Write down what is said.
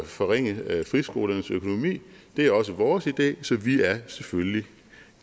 forringe friskolernes økonomi det er også vores idé så vi er selvfølgelig